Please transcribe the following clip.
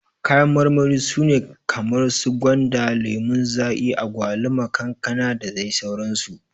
Kayan marmari su ne kamar su gwanda, lemon zaki, agwaluma, kankana dadai sauran su.